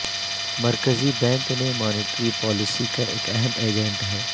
مرکزی بینک نے monetary policy کا ایک اہم ایجنٹ ہے